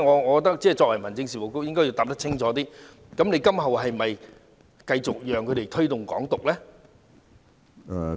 我認為民政事務局局長應該清楚回答，今後是否讓他們繼續推動"港獨"呢？